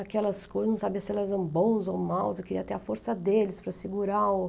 Aquelas coisas, não sabia se elas eram bons ou maus, eu queria ter a força deles para segurar o...